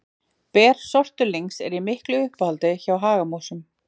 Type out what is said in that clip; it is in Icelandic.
Ber sortulyngs eru í miklu uppáhaldi hjá hagamúsum.